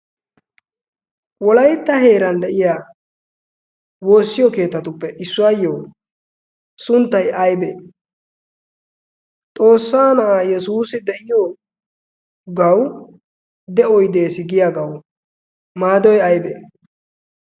wolaytta heeran de'iya woossiyo keetatuppe issuwaayyo sunttay aibee xoossaa na'aa yesuusi de'iyo gau de'oy dees giyagawu maadoy aybbee